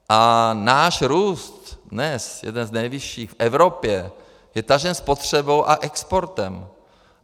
A náš růst dnes, jeden z nejvyšších v Evropě, je tažen spotřebou a exportem.